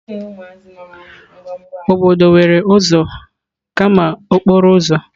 Obodo nwere ụzọ kama okporo ụzọ.